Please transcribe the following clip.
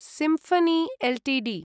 symphony Ltd